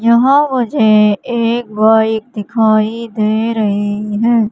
यहां मुझे एक बाइक दिखाई दे रही है।